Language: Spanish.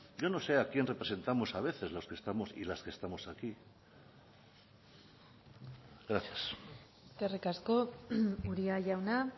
yo no sé a quién representamos a veces los que estamos y las que estamos aquí gracias eskerrik asko uria jauna